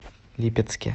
липецке